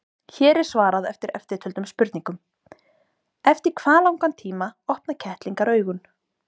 Hér er svarað eftirtöldum spurningum: Eftir hvað langan tíma opna kettlingar augun?